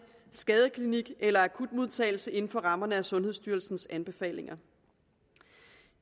skadestue eller i akutmodtagelse inden for rammerne af sundhedsstyrelsens anbefalinger